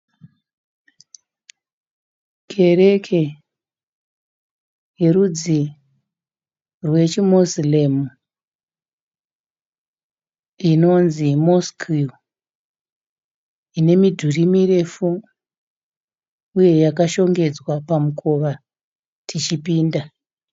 Kereke yerudzi rwechi Muslim inonzi Mosque. Ine midhuri mirefu uye yakashongedzwa pamukova tichipinda.